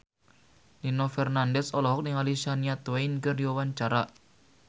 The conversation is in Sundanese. Nino Fernandez olohok ningali Shania Twain keur diwawancara